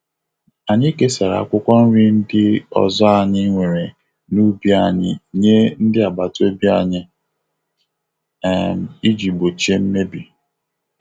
Anyị kesara akwụkwọ nri ndị ọzọ anyị nwere n'ubi anyị nye ndị agbataobi anyị um iji gbochie mmebi.